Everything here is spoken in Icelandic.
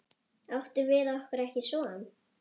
Áttum við okkur ekki son?